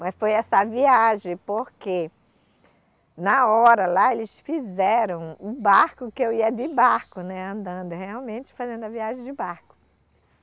Mas foi essa viagem, porque na hora lá eles fizeram o barco que eu ia de barco, né, andando realmente fazendo a viagem de barco.